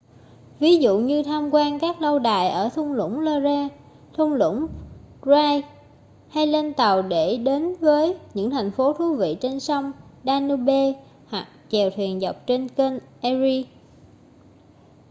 ví dụ như tham quan các lâu đài ở thung lũng loire thung lũng rhine hay lên tàu để đến với những thành phố thú vị trên sông danube hoặc chèo thuyền dọc theo kênh erie